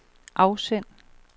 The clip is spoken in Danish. afsend